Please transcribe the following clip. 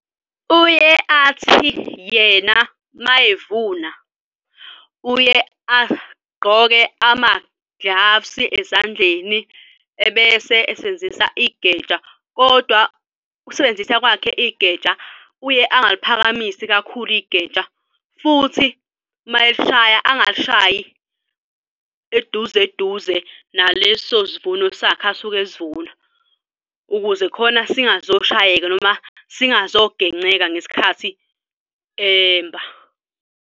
Uye athi yena uma evuna uye agqoke ama-gloves ezandleni ebese esebenzisa igeja kodwa ukusebenzisa kwakhe igeja uye engaluphakamisi kakhulu igeja futhi mayelishaya angal'shayi eduze eduze naleso sivuno sakhe asuke esivuna ukuze khona singazoshayeka noma singazogenceka ngesikhathi emba.